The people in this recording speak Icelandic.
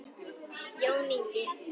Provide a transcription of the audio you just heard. Jón Ingi.